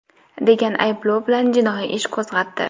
degan ayblov bilan jinoiy ish qo‘zg‘atdi.